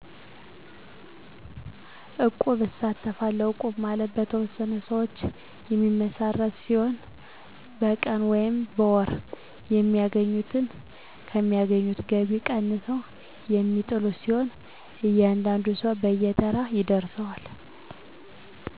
እቁብ እሳተፋለሁ እቁብ ማለት የተወሠኑ ሰዎች የሚመሰረት ሲሆን በቀን ሆነ በወር ከሚያገኙት ከሚያገኙት ገቢ ቀንሰው የሚጥሉት ሲሆን እያንዳንዱን ሰው በየተራ ይደርሰዋል